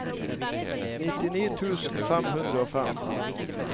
nittini tusen fem hundre og fem